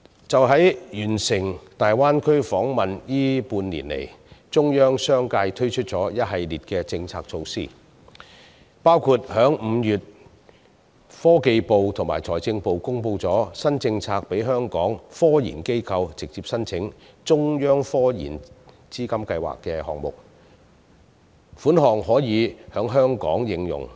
在完成大灣區訪問的這半年以來，中央相繼推出一系列政策措施，包括科技部及財政部於5月公布新政策，讓香港科研機構直接申請成為"中央科研資金計劃"項目，所得款項可在香港應用。